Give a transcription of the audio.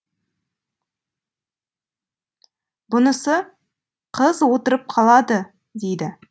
бұнысы қыз отырып қалады дейді